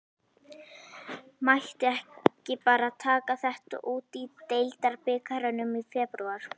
Mætti ekki bara taka þetta út í deildarbikarnum í febrúar?